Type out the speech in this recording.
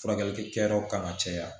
Furakɛli kɛyɔrɔ kan ka caya